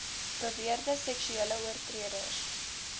beweerde seksuele oortreders